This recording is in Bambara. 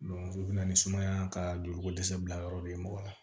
o bɛ na ni sumaya ka joliko dɛsɛ bila yɔrɔ de ye mɔgɔ la